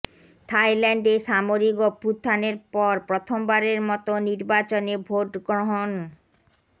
থাইল্যান্ডে সামরিক অভ্যুত্থানের পর প্রথমবারের মতো নির্বাচনে ভোটগ্রহণ গ্রহণ